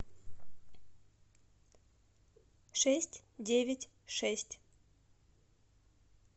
шесть девять шесть